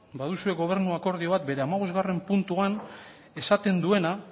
baduzue gobernu akordio bat bere hamabosgarren puntuan esaten duena